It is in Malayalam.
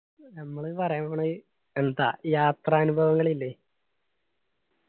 ഞമ്മള് പറയാൻ പോണത് എന്താ യാത്രാനുഭവങ്ങൾ ഇല്ലേ